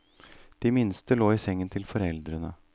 De minste lå i sengen til foreldrene.